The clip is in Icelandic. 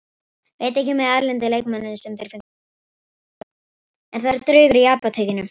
Veit ekki með erlenda leikmanninn sem þeir fengu, hefur lítið spilað.